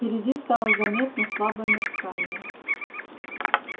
впереди стало заметно слабое мерцание